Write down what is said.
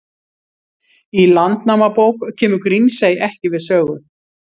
Í Landnámabók kemur Grímsey ekki við sögu.